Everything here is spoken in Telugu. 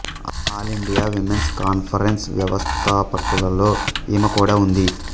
ఆల్ ఇండియా విమెన్స్ కాన్ఫరెన్స్ వ్యవస్థాపకులలో ఈమె కూడా ఉంది